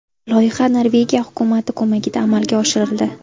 Loyiha Norvegiya hukumati ko‘magida amalga oshirildi.